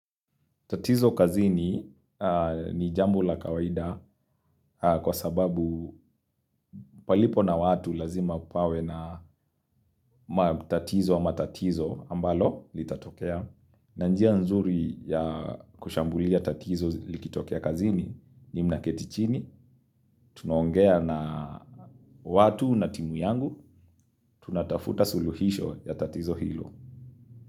Tatizo kazini ni jambo la kawaida kwa sababu palipo na watu lazima pawe na matatizo ama matatizo ambalo litatokea. Na njia nzuri ya kushambulia tatizo likitokea kazini ni mnaketichini, tunaongea na watu na timu yangu, tunatafuta suluhisho ya tatizo hilo.